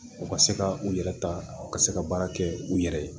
U ka se ka u yɛrɛ ta u ka se ka baara kɛ u yɛrɛ ye